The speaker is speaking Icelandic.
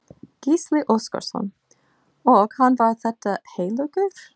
Gísli Óskarsson: Og hann var þetta heillegur?